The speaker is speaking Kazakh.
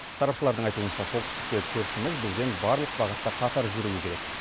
сарапшылардың айтуынша солтүстіктегі көршіміз бізбен барлық бағытта қатар жүруі керек